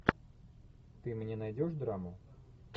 ты мне найдешь драму